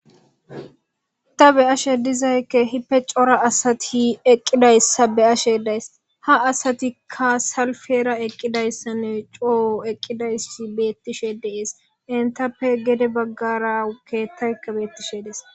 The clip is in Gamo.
ta be ashe dizaykke hippe cora asati eqqidayssa be ashe days ha asatikka salfera eqqidayssanne coo eqqidayssa beettishe deees intappe gede baggarakeettaykka beettishe dees